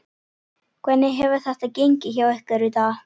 Hvernig hefur þetta gengið hjá ykkur í dag?